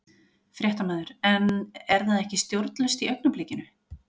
Fréttamaður: En er það ekki stjórnlaust í augnablikinu?